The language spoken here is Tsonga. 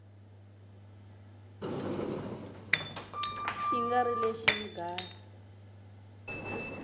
xi nga ri lexi mga